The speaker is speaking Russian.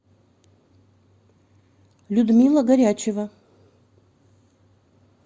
людмила горячева